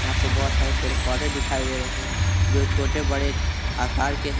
यहां पे बहुत सारे पेड़ पौधे दिखाई दे रहे हैं जो छोटे बड़े आकार के हैं।